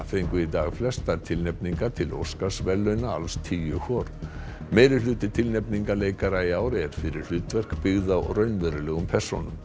fengu í dag flestar tilnefningar til Óskarsverðlauna alls tíu hvor tilnefninga leikara í ár er fyrir hlutverk byggð á raunverulegum persónum